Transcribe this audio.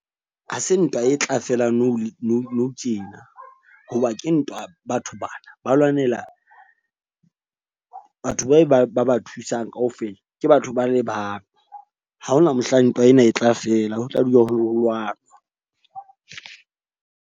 Ha se ntwa e tla fela nou, nou nou tjena. Hoba ke ntwa batho bana ba lwanela batho ba ba thusang kaofela. Ke batho ba le bang. Ha hona mohlang ntwa ena e tla fela ho tla dula ho lwanwa.